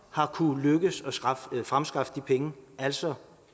har kunnet fremskaffe de penge altså